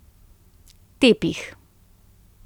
Tepih.